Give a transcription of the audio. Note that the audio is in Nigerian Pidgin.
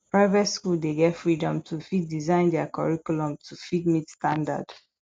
private school dey get freedom to fit design their curriculum to fit meet standard